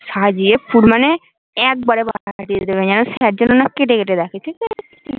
সাজিয়ে পুর মানে একবারে বসাতে দিয়ে দেবে যেন যেন কেটে না রাখে ঠিকাছে